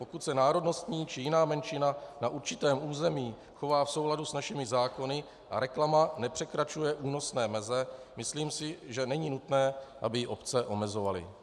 Pokud se národnostní či jiná menšina na určitém území chová v souladu s našimi zákony a reklama nepřekračuje únosné meze, myslím si, že není nutné, aby ji obce omezovaly.